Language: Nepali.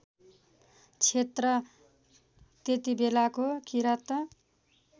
क्षेत्र त्यतिबेलाको किराँत